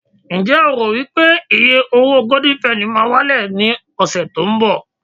njé o ro wipe iye owo golden penny ma wale ni ọsẹ tínbọ̀